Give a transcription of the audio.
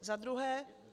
Za druhé.